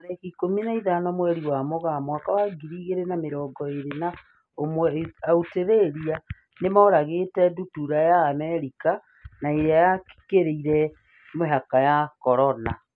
Tarĩki ikũmi na ithano mweri wa Mũgaa mwaka wa ngiri igĩrĩ na mĩrongo ĩrĩ na ĩmwe, Australia nĩmoragĩte ndutura ya Amerika na ĩrĩa yakĩrire mĩhaka ya Corona.